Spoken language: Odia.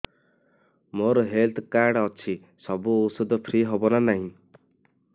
ମୋର ହେଲ୍ଥ କାର୍ଡ ଅଛି ସବୁ ଔଷଧ ଫ୍ରି ହବ ନା ନାହିଁ